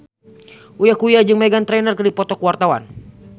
Uya Kuya jeung Meghan Trainor keur dipoto ku wartawan